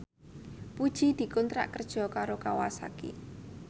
Puji dikontrak kerja karo Kawasaki